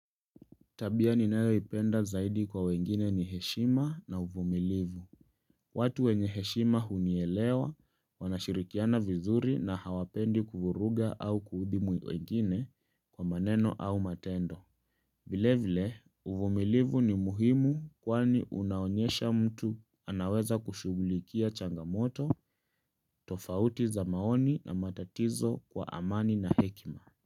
Tabia ninayoipenda zaidi kwa wengine ni heshima na uvumilivu. Watu wenye heshima hunielewa wanashirikiana vizuri na hawapendi kuvuruga au kuudhi wengine kwa maneno au matendo. Vile vile, uvumilivu ni muhimu kwani unaonyesha mtu anaweza kushughulikia changamoto, tofauti za maoni na matatizo kwa amani na hekima.